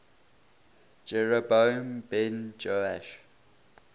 jeroboam ben joash